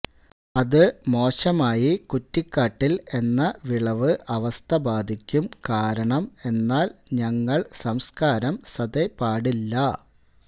അത് മോശമായി കുറ്റിക്കാട്ടിൽ എന്ന വിളവ് അവസ്ഥ ബാധിക്കും കാരണം എന്നാൽ ഞങ്ങൾ സംസ്കാരം സതെ പാടില്ല